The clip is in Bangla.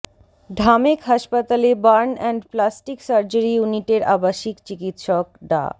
ঢামেক হাসপাতালে বার্ন অ্যান্ড প্লাস্টিক সার্জারি ইউনিটের আবাসিক চিকিৎসক ডা